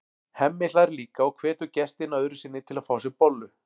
Hemmi hlær líka og hvetur gestina öðru sinni til að fá sér bollu.